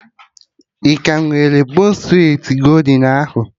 Ị ka nwere bon streti goldin ahụ?